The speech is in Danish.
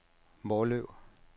Måløv